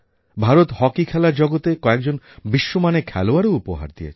Bharat hockey খেলার জগতে কয়েকজন বিশ্বমানের খেলোয়াড়ও উপহার দিয়েছে